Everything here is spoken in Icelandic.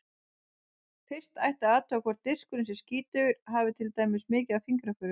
Fyrst ætti að athuga hvort diskurinn sé skítugur, hafi til dæmis mikið af fingraförum.